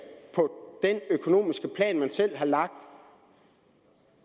på den økonomiske plan man selv har lagt